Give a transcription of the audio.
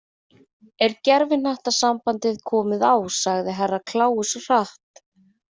Er gervihnattasambandið komið á sagði Herra Kláus hratt.